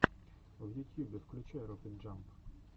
в ютьюбе включай рокет джамп